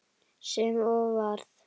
Sem og varð.